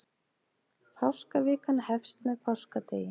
Páskavikan hefst með páskadegi.